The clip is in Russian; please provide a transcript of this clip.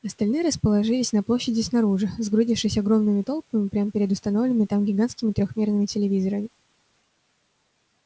остальные расположились на площади снаружи сгрудившись огромными толпами прямо перед установленными там гигантскими трёхмерными телевизорами